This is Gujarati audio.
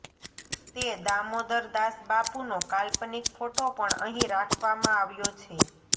તે દામોદરદાસબાપુનો કાલ્પનિક ફોટો પણ અહીં રાખવામા આવ્યો છે